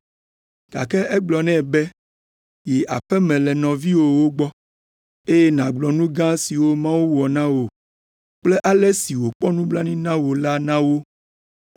gake egblɔ nɛ be, “Yi aƒe me le nɔviwòwo gbɔ, eye nàgblɔ nu gã siwo Mawu wɔ na wò kple ale si wòkpɔ nublanui na wò la na wo.”